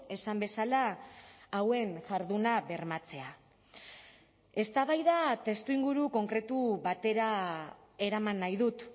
esan bezala hauen jarduna bermatzea eztabaida testuinguru konkretu batera eraman nahi dut